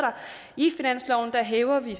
her hæver vi